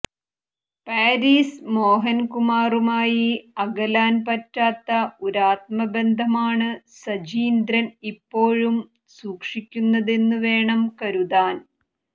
Paris മോഹൻകുമാറുമായി അകലാൻ പറ്റാത്ത ഒരാത്മബന്ധമാണ് സജീന്ദ്രൻ ഇപ്പോഴും സൂക്ഷിക്കുന്നതെന്നുവേണം കരുതാൻ